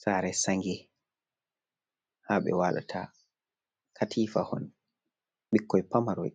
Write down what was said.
Sare sange ha ɓe walata, katifa hon ɓikkoi pamaroi